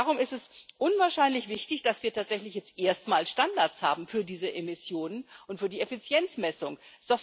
Darum ist es unwahrscheinlich wichtig, dass wir tatsächlich jetzt erstmals Standards für diese Emissionen und für die Effizienzmessung haben.